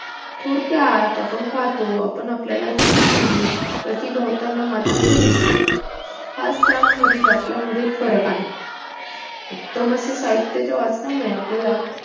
थोडक्यात आपण पाहतो आपण आपल्याला दिसत नाही प्रतीभोवतानी मात्र ते दिसते हाच त्यामधील आपल्यामधील फरक आहे उत्तम असे साहित्याच्या वाचनामुळे आपल्याला